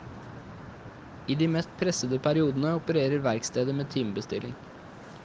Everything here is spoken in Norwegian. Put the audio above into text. I de mest pressede periodene opererer verkstedet med timebestilling.